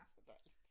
Så dejligt